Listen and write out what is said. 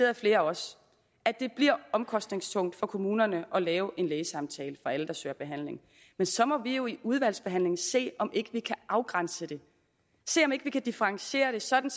af flere af os at det bliver omkostningstungt for kommunerne at lave en lægesamtale for alle der søger behandling men så må vi jo i udvalgsbehandlingen se om ikke vi kan afgrænse det se om ikke vi kan differentiere det sådan